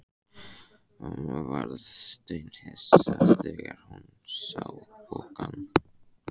Mamma varð steinhissa þegar hún sá pokann.